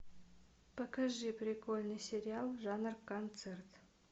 покажи прикольный сериал жанр концерт